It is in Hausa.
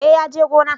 Eh ya je gona